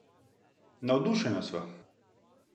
Navdušena sva!